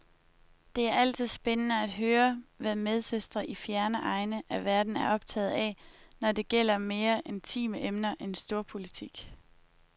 Det er altid spændende at høre, hvad medsøstre i fjerne egne af verden er optaget af, når det gælder mere intime emner end storpolitik.